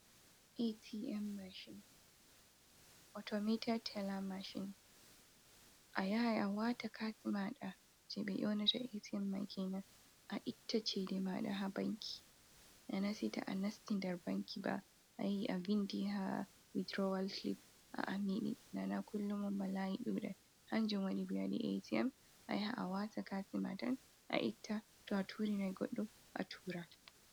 Atm mashin, Automita tela mashin, a yahai a wata kati maɗa je ɓe nyonata atm mai kenan, a itta chede maɗa ha banki. Nanasitu a nastidar banki ba a yayi a vindi ha widrawal clip a nana kullumun ba layi ɗuɗata, hanjin wani ɓe wadi atm, a yahai a wata kati ma tan a itta, to a turi na goddo a tura.